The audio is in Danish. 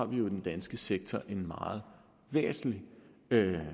vi jo i den danske sektor har en meget væsentlig